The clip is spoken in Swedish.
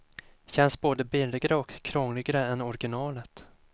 Känns både billigare och krångligare än originalet.